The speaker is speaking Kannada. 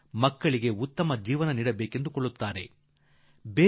ಮಕ್ಕಳಿಗೆ ಉತ್ತಮ ಭವಿಷ್ಯ ಬಯಸುತ್ತೇವೆ